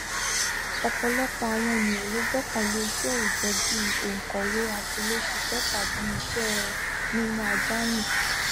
ọpọlọpọ àwọn ènìyàn ló gbọkànlé iṣẹ òòjọ bí i onkọwe atiléṣiṣẹ tàbí iṣẹ ẹ mímú ajá rìn